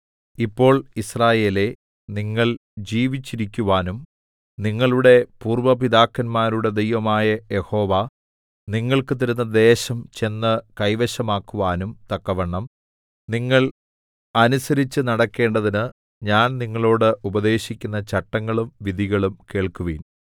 ഇപ്പോൾ യിസ്രായേലേ നിങ്ങൾ ജീവിച്ചിരിക്കുവാനും നിങ്ങളുടെ പൂര്‍വ്വ പിതാക്കന്മാരുടെ ദൈവമായ യഹോവ നിങ്ങൾക്ക് തരുന്ന ദേശം ചെന്ന് കൈവശമാക്കുവാനും തക്കവണ്ണം നിങ്ങൾ അനുസരിച്ച് നടക്കേണ്ടതിന് ഞാൻ നിങ്ങളോട് ഉപദേശിക്കുന്ന ചട്ടങ്ങളും വിധികളും കേൾക്കുവിൻ